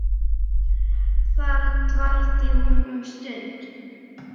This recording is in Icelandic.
Þar dvaldi hún um stund.